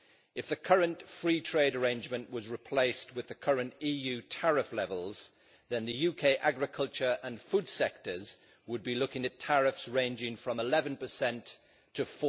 If the current free trade arrangement was replaced with the current EU tariff levels, then the UK agriculture and food sectors would be looking at tariffs ranging from 11 to